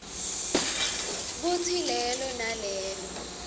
kutsi lelo nalelo